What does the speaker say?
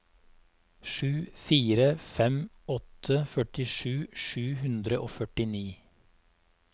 sju fire fem åtte førtisju sju hundre og førtini